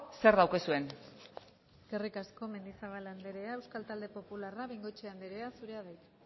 zer daukazuen eskerrik asko mendizabal andrea euskal talde popularra bengoechea andrea zurea da hitza